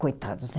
Coitados, né?